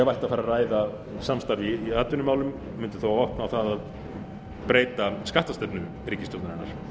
ætti að fara að ræða samstarfið í atvinnumálum mundi þá opna á það að breyta skattastefnu ríkisstjórnarinnar